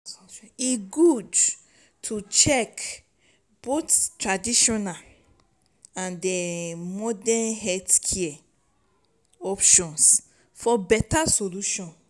e good to check both traditional and modern health options for beta solution.